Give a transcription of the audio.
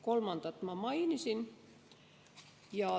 Kolmandat ma mainisin.